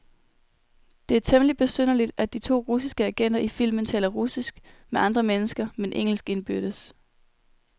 Det er temmeligt besynderligt, at de to russiske agenter i filmen taler russisk med andre mennesker, men engelsk indbyrdes.